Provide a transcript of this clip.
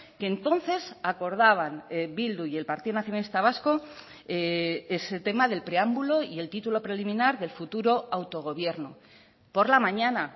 que entonces acordaban bildu y el partido nacionalista vasco ese tema del preámbulo y el título preliminar del futuro autogobierno por la mañana